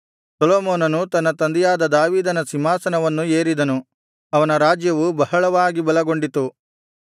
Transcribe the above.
ಸೊಲೊಮೋನನು ತನ್ನ ತಂದೆಯಾದ ದಾವೀದನ ಸಿಂಹಾಸನವನ್ನು ಏರಿದನು ಅವನ ರಾಜ್ಯವು ಬಹಳವಾಗಿ ಬಲಗೊಂಡಿತು